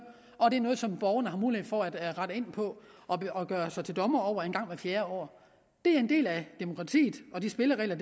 og det er noget som borgerne har mulighed for at rette ind på og gøre sig til dommer over en gang hvert fjerde år det er en del af demokratiet og de spilleregler